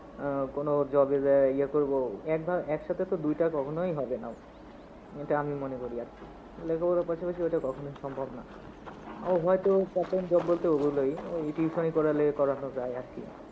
আহ কোনো job এ যাইয়া এইয়া করবো, এক ভা- একসাথে তো দুইটা কখনোই হবে না। এইটা আমি মনে করি আর কি। লেখাপড়ার পাশাপাশি ওইটা কখনোই সম্ভব না। ও হয়তো part time job বলতে ওগুলোই, ওই tuition করালে করানো যায় আর কি।